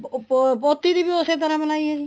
ਉਹ ਪੋਤੀ ਦੀ ਵੀ ਉਸੇ ਤਰ੍ਹਾਂ ਮਨਾਈ ਹੈ ਜੀ